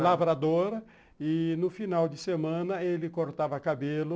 Lavradora, e no final de semana ele cortava cabelo.